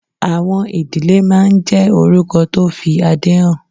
Àwọn ìdílé máa ń jẹ́ orúkọ tó fi adé hàn.